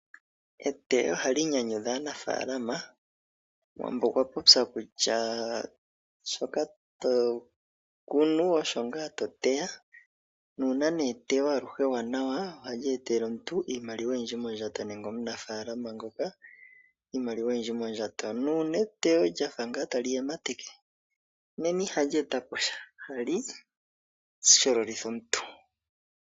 Eteyo ohali nyanyudha aanafalama. Omuwambo okwa popya kutya shoka to kunu osho ngaa to teya, nuuna nee eteyo aluhe ewanawa ohali etele omuntu iimaliwa oyindji mondjato nenge omunafaalama ngoka iimaliwa oyindji mondjato. Nuuna eteyo lya fa ngaa tali yemateke nena ihali eta po sha. Ohali shololitha omuntu.